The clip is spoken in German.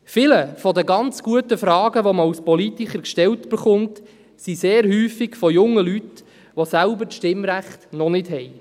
Viele der ganz guten Fragen, die man als Politiker gestellt erhält, kommen häufig von jungen Leuten, die das Stimmrecht noch nicht haben.